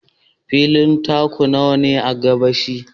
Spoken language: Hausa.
Fili taku nawa ka ba shi?